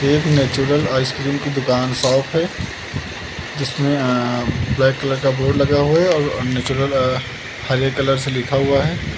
एक natural ice cream की दुकान शॉप है जिसमें अ ब्लैक कलर बोर्ड लगा हुआ है और अ नेचुरल अ हरे कलर से लिखा हुआ है।